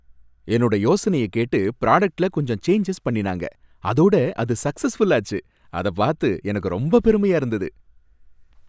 என்னோட யோசனைய கேட்டு ப்ராடக்ட்ல கொஞ்சம் சேஞ்சஸ் பண்ணினாங்க, அதோட அது சக்சஸ்ஃபுல்லாச்சு, அத பார்த்து எனக்கு ரொம்ப பெருமையா இருந்தது.